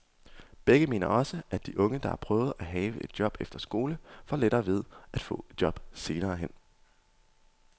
Begge mener også, at de unge, der har prøvet at have et job efter skole, får lettere ved at få et job senere hen.